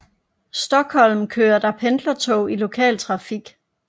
Stockholm kører der pendlertog i lokal trafik